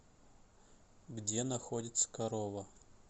где находится корова